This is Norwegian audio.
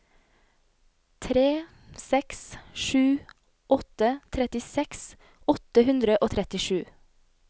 tre seks sju åtte trettiseks åtte hundre og trettisju